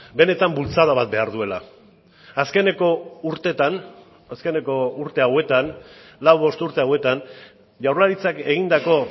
benetan bultzada bat behar duela azkeneko urteetan azkeneko urte hauetan lau bost urte hauetan jaurlaritzak egindako